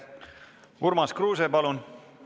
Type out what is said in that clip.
Urmas Kruuse, palun!